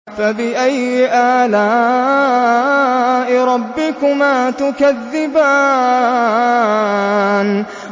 فَبِأَيِّ آلَاءِ رَبِّكُمَا تُكَذِّبَانِ